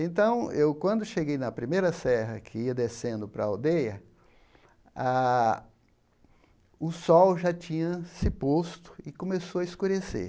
Então, eu quando eu cheguei na primeira serra que ia descendo para a aldeia, a o sol já tinha se posto e começou a escurecer.